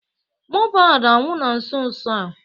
Mobad anwụ na nso nso a